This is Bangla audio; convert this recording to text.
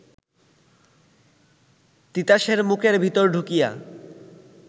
তিতাসের মুখের ভিতর ঢুকিয়া